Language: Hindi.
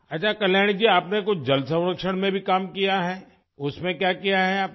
अच्छा कल्याणी जी आपने कुछ जल संरक्षण में भी काम किया है उसमें क्या किया है आपने